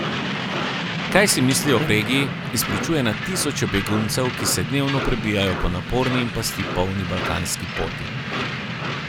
Kaj si mislijo o regiji, izpričuje na tisoče beguncev, ki se dnevno prebijajo po naporni in pasti polni balkanski poti.